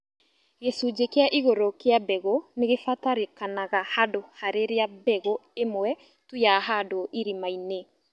gĩcunjĩ kia igũrũ kĩa mbegũ nĩgĩbatarĩkanaga handũ harĩria mbegũ ĩmwe tu yahandwo irima-inĩ